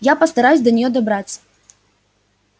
я постараюсь до нее добраться